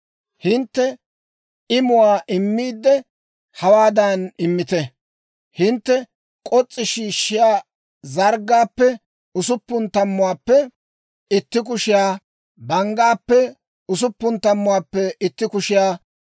«‹ «Hintte imuwaa immiidde, hawaadan immite. Hintte k'os's'i shiishshiyaa zarggaappe usuppun tammuwaappe itti kushiyaa, banggaappe usuppun tammuwaappe itti kushiyaa,